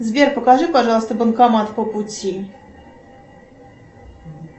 сбер покажи пожалуйста банкомат по пути